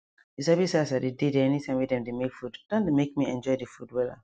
you sabi say as i dey dey there anytime wey dem dey make food don dey make me enjoy the food wella